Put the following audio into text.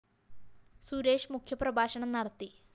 സുരേഷ് മുഖ്യ പ്രഭാഷണം നടത്തി